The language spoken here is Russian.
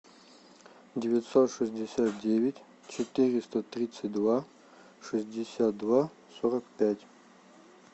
девятьсот шестьдесят девять четыреста тридцать два шестьдесят два сорок пять